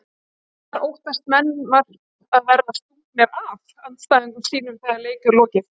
Þar óttast menn vart að verða stungnir af andstæðingum sínum þegar leik er lokið.